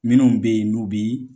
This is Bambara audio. Minnu bɛ ye n'u bi